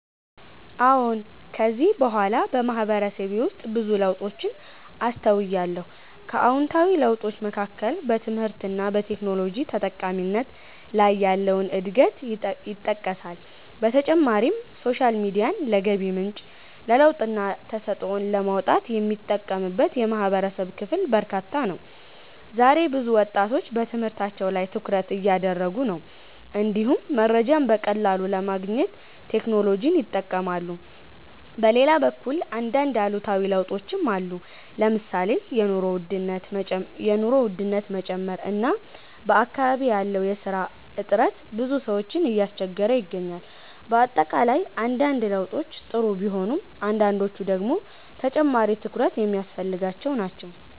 አዎን። ከጊዜ በኋላ በማህበረሰቤ ውስጥ ብዙ ለውጦችን አስተውያለሁ። ከአዎንታዊ ለውጦች መካከል በትምህርት እና በቴክኖሎጂ ተጠቃሚነት ላይ ያለው እድገት ይጠቀሳል። በተጨማሪም ሶሻል ሚዲያን ለገቢ ምንጭ፣ ለለውጥና ተሰጥኦን ለማውጣት የሚጠቀምበት የማህበረሰብ ክፍል በርካታ ነው። ዛሬ ብዙ ወጣቶች በትምህርታቸው ላይ ትኩረት እያደረጉ ነው፣ እንዲሁም መረጃን በቀላሉ ለማግኘት ቴክኖሎጂን ይጠቀማሉ። በሌላ በኩል አንዳንድ አሉታዊ ለውጦችም አሉ። ለምሳሌ የኑሮ ውድነት መጨመር እና በአካባቢ ያለው የስራ እጥረት ብዙ ሰዎችን እያስቸገረ ይገኛል። በአጠቃላይ አንዳንድ ለውጦች ጥሩ ቢሆኑም አንዳንዶቹ ደግሞ ተጨማሪ ትኩረት የሚያስፈልጋቸው ናቸው።